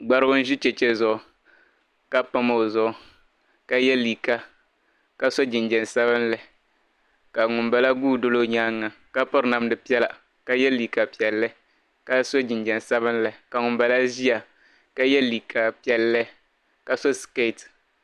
Gbarigu n ʒi cheche zuɣu ka pam o zuɣu ka ye liiga ka so jinjiɛm sabinli ka ŋunbala guudoli o nyaanga ka piri namda piɛlla ka ye liiga piɛli ka so jinjiɛm sabinli ka ŋunbala ʒia ka ye liiga piɛli ka so siketi.